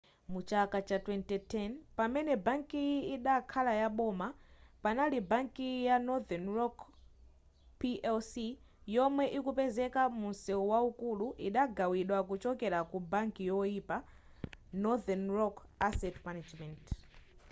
mu chaka cha 2010 pamene bankiyi idakhala yaboma panopa bankiyi ya northern rock plc yomwe ikupezeka mu mseu waukulu idagawidwa kuchokera ku ‘banki yoyipa’ northern rock asset management